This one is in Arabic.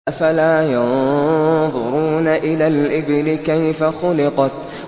أَفَلَا يَنظُرُونَ إِلَى الْإِبِلِ كَيْفَ خُلِقَتْ